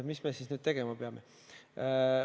Mis me siis nüüd tegema peame?